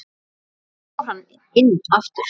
Svo fór hann inn aftur.